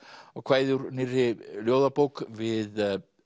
á kvæði úr nýrri ljóðabók við